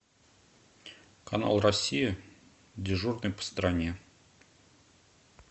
канал россия дежурный по стране